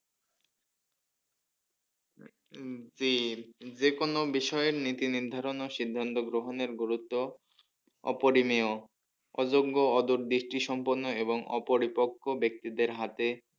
হম জি যে কোনো বিষয়ে নীতি নির্ধারণ আর সিদ্ধান্ত গ্রহণের গুরুত্ব অপরিনীয় অযোগ্য অদূর দৃষ্টি সম্পুর্ন্ন এবং অপরিপক্ষ ব্যাক্তিদের হাতে